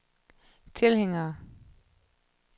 tilhængere